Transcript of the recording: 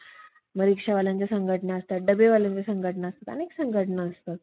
तुणतुणेची तार तुटून, इंग्रज भारताचा बावटा चहूकडे, चहूकडे फडकू लागला. तेव्हा बहुतेक त्या बळीराजाने